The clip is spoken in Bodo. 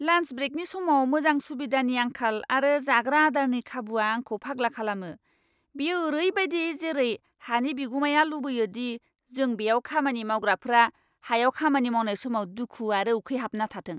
लान्स ब्रेकनि समाव मोजां सुबिदानि आंखाल आरो जाग्रा आदारनि खाबुआ आंखौ फाग्ला खालामो। बेयो ओरैबायदि जेरै हानि बिगुमाया लुबैयो दि जों बेयाव खामानि मावग्राफोरा हायाव खामानि मावनाय समाव दुखु आरो उखैहाबना थाथों!